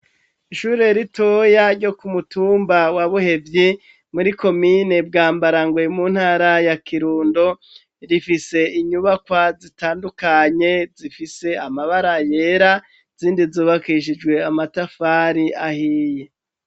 Ishure ritoya ryo ku mutumba wa Buhevyi muri komine bwambarangwe mu ntara ya kirundo, rifise inyubakwa zitandukanye zifise amabara yera zindi zubakishijwe amatafari ahiye.